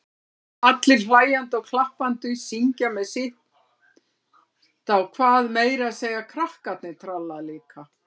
Allir hlæjandi og klappandi, syngja með sitt á hvað, meira að segja krakkarnir tralla líka.